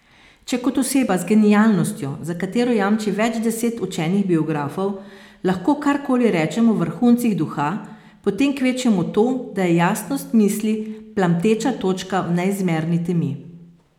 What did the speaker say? Če kot oseba z genialnostjo, za katero jamči več deset učenih biografov, lahko karkoli rečem o vrhuncih duha, potem kvečjemu to, da je jasnost misli plamteča točka v neizmerni temi.